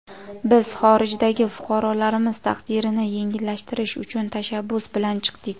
Biz xorijdagi fuqarolarimiz taqdirini yengillashtirish uchun tashabbus bilan chiqdik.